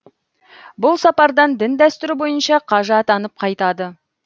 бұл сапардан дін дәстүрі бойынша қажы атанып қайтады